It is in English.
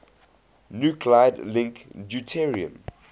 nuclide link deuterium